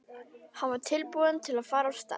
Hann var tilbúinn til að fara af stað.